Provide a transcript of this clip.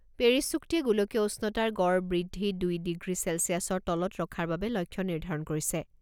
Paris চুক্তিয়ে গোলকীয় উষ্ণতাৰ গড় বৃদ্ধি দুই ডিগ্ৰী ছেলছিয়াচৰ তলত ৰখাৰ বাবে লক্ষ্য নিৰ্ধাৰণ কৰিছে।